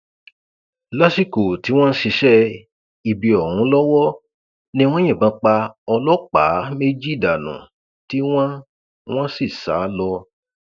lásìkò tí wọn ń ṣiṣẹ ibi ọhún lọwọ ni wọn yìnbọn pa ọlọpàá méjì dànù tí wọn wọn sì sá lọ